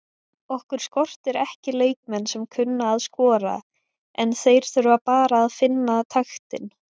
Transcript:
Okkur skortir ekki leikmenn sem kunna að skora en þeir þurfa bara að finna taktinn.